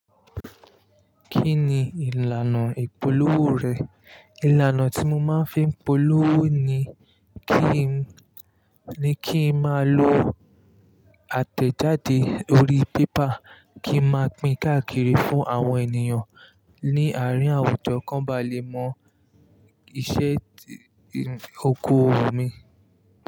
Kí ni ìlànà ìpolówó rẹ̀? Ìlànà tí mo máa ń fi ń polówó ni kí n, ni kí n má lọ àtẹ̀jáde orí paper, kí n máa pín káàkiri fún àwọn ènìyàn ní àárín àwùjọ kó ba lè mọ iṣẹ́ oko òwò mi.